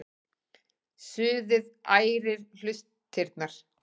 Suðið ærir hlustirnar.